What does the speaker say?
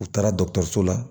U taara dɔkɔtɔrɔso la